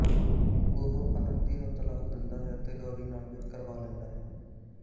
ਉਹ ਅਨੰਦੀ ਨੂੰ ਤਲਾਕ ਦਿੰਦਾ ਹੈ ਅਤੇ ਗੌਰੀ ਨਾਲ ਵਿਆਹ ਕਰਵਾ ਲੈਂਦਾ ਹੈ